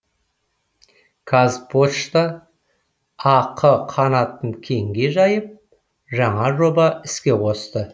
қазпошта ақ қанатын кеңге жайып жаңа жобаны іске қосты